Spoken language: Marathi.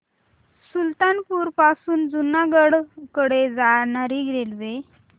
सुल्तानपुर पासून जुनागढ कडे जाणारी रेल्वे